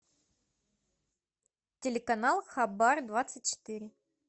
телеканал хабар двадцать четыре